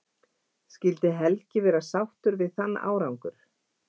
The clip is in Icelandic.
Skyldi Helgi vera sáttur við þann árangur?